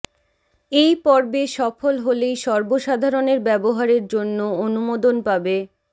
এই পর্বে সফল হলেই সর্বসাধারণের ব্যবহারের জন্য অনুমোদন পাবে